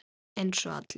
Eins og allir.